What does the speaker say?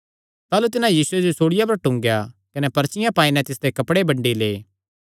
ताह़लू तिन्हां यीशुये जो सूल़िया पर टूंगेया कने पर्चियां पाई नैं तिसदे कपड़े बंडी लै